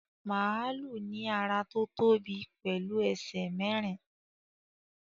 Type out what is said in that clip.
Màlúù ní ara tó tóbi pẹ̀lú ẹsẹ̀ mẹ́rin